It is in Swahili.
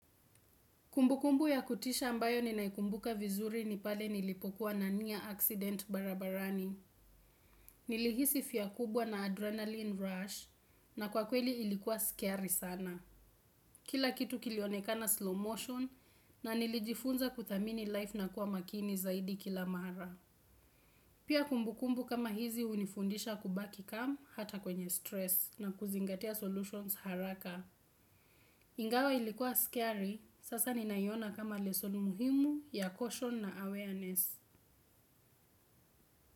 Kumbukumbu ya kutisha ambayo ninaikumbuka vizuri ni pale nilipokuwa na near accident barabarani. Nilihisi fear kubwa na adrenaline rush na kwa kweli ilikuwa scary sana. Kila kitu kilionekana slow motion na nilijifunza kuthamini life na kuwa makini zaidi kila mara. Pia kumbukumbu kama hizi hunifundisha kubaki calm hata kwenye stress na kuzingatia solutions haraka. Ingawa ilikuwa scary, sasa ninaiona kama lesson muhimu ya caution na awareness.